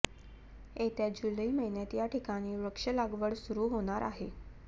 येत्या जुलै महिन्यात या ठिकाणी वृक्ष लागवड सुरू होणार आहे